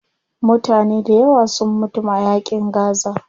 Mutane dayawa sun mutum a yaƙin gaza.